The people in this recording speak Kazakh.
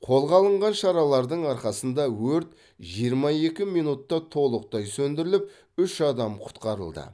қолға алынған шаралардың арқасында өрт жиырма екі минутта толықтай сөндіріліп үш адам құтқарылды